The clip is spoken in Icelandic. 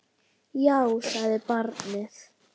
Já, sagði barnið.